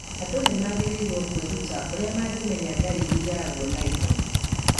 Andũ nĩ magĩrĩirũo kwĩruta ũrĩa mangĩmenya dariri yaguo na ihenya.